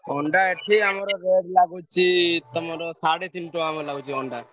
ଅଣ୍ଡା ଏଠି ଆମର rate ଲାଗୁଛି ତମର ସାଢେ ତିନିଟଙ୍କା ଲାଗୁଛି ଅଣ୍ଡା।